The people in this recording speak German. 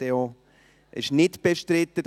Das Traktandum 42 ist nicht bestritten.